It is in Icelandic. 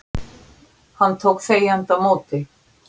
Hann tók þegjandi á móti